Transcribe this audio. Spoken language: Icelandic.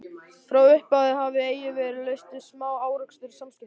Frá upphafi hafði eigi verið laust við smá-árekstra í samskiptum